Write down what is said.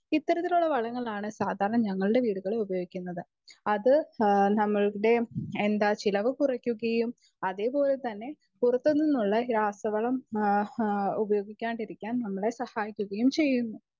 Speaker 2 അത്തരത്തിലുള്ള വളങ്ങളാണ് സാധാരണ നമ്മുടെ വീടുകളിൽ ഉപയോകികുന്നത് അത് നമ്മുടെ ചിലവ് കുറക്കുകയും അതെ പോലെ തന്നെ പുറത്തുനിന്നുള്ള രാസവളം ഉപയോഗിക്കാതിരിക്കാൻ നമ്മളെ സഹായിക്കുകയും ചെയ്യും.